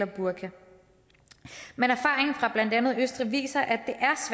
burka men erfaringen fra blandt andet østrig viser at det